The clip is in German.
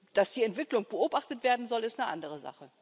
Dass die Entwicklung beobachtet werden soll, ist eine andere Sache.